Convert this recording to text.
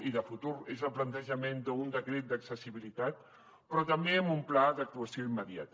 i de futur és el plantejament d’un decret d’accessibilitat però també amb un pla d’actuació immediata